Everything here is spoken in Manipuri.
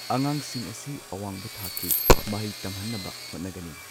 ꯑꯉꯥꯡꯁꯤꯡ ꯑꯁꯤ ꯑꯋꯥꯡꯕ ꯊꯥꯛꯀꯤ ꯃꯍꯩ ꯇꯝꯍꯟꯅꯕ ꯍꯣꯠꯅꯒꯅꯤ꯫